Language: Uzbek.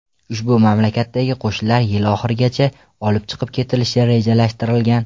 Ushbu mamlakatdagi qo‘shinlar yil oxirigacha olib chiqib ketilishi rejalashtirilgan.